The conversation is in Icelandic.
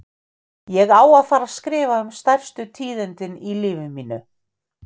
Ég er að fara að skrifa um stærstu tíðindin í lífi mínu.